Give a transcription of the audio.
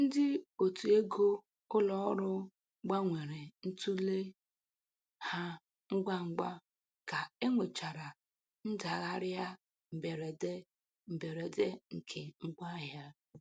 Ndị otu ego ụlọ ọrụ gbanwere ntule ha ngwa ugwa ka e nwechara ndagharịa mberede mberede nke ngwa ahịa.